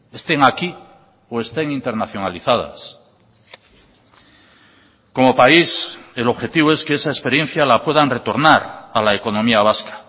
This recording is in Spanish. estén aquí o estén internacionalizadas como país el objetivo es que esa experiencia la puedan retornar a la economía vasca